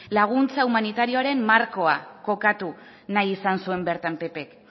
laguntza humanitarioaren markoa kokatu nahi izan zuen bertan ppk